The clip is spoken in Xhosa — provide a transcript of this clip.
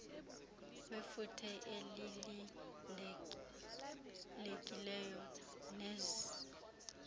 wefuthe elilindelekileyo nenzuzo